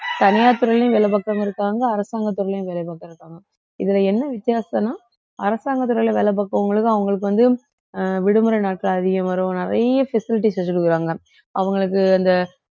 தனியார் துறையிலும் வேலை பாக்கிறவங்க இருக்காங்க அரசாங்க துறையிலயும் வேலை பாக்கிறவங்க இருக்காங்க இதுல என்ன வித்தியாசம்னா அரசாங்கத்தில உள்ள வேலை பாக்கிறவங்களுக்கு அவங்களுக்கு வந்து அஹ் விடுமுறை நாட்கள் அதிகம் வரும் நிறைய facilities வச்சு கொடுக்குறாங்க அவங்களுக்கு அந்த